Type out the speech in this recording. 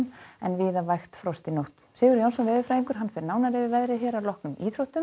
en víða vægt frost í nótt Sigurður Jónsson veðurfræðingur fer nánar yfir veðrið að loknum íþróttum